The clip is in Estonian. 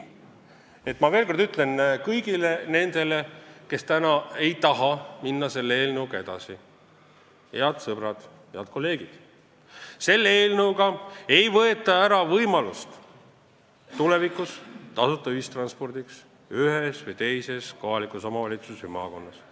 Ma ütlen veel kord kõigile nendele, kes täna ei taha selle eelnõuga edasi minna: head sõbrad, head kolleegid, selle eelnõuga ei võeta tulevikus ära tasuta ühistranspordi võimalust ühes või teises kohalikus omavalitsuses või maakonnas.